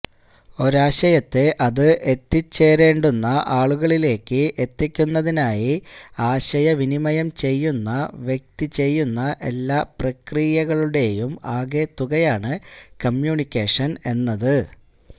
ഒരാശയത്തെ അത് എത്തിച്ചേരേണ്ടുന്ന ആളിലേക്ക് എത്തിക്കുന്നതിനായി ആശയവിനിമയം ചെയ്യുന്ന വ്യക്തി ചെയ്യുന്ന എല്ലാ പ്രക്രിയകളുടെയും ആകെത്തുകയാണ് കമ്യൂണിക്കേഷൻ എന്നത്